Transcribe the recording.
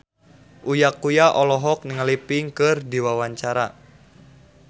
Uya Kuya olohok ningali Pink keur diwawancara